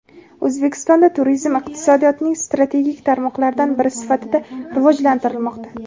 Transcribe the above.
O‘zbekistonda turizm iqtisodiyotning strategik tarmoqlaridan biri sifatida rivojlantirilmoqda.